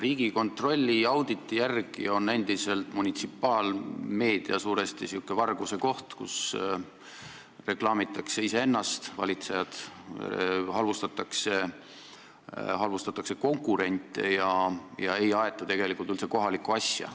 Riigikontrolli auditi järgi on munitsipaalmeedia endiselt suuresti selline varguse koht, kus valitsejad reklaamivad iseennast, kus halvustatakse konkurente ja ei aeta tegelikult üldse kohalikku asja.